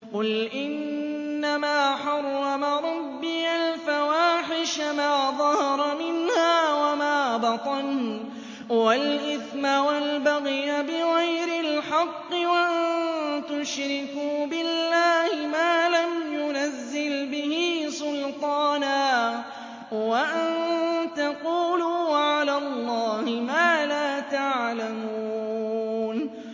قُلْ إِنَّمَا حَرَّمَ رَبِّيَ الْفَوَاحِشَ مَا ظَهَرَ مِنْهَا وَمَا بَطَنَ وَالْإِثْمَ وَالْبَغْيَ بِغَيْرِ الْحَقِّ وَأَن تُشْرِكُوا بِاللَّهِ مَا لَمْ يُنَزِّلْ بِهِ سُلْطَانًا وَأَن تَقُولُوا عَلَى اللَّهِ مَا لَا تَعْلَمُونَ